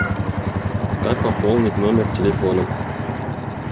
как пополнить номер телефона